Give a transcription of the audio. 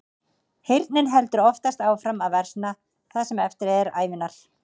Heyrnin heldur oftast áfram að versna það sem eftir er ævinnar.